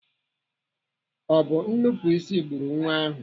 Ọ bụ nnupụisi gburu Nwa ahụ?